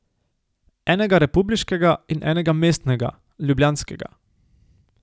Enega republiškega in enega mestnega, ljubljanskega.